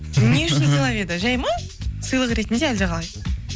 не үшін сыйлап еді жай ма сыйлық ретінде әлде қалай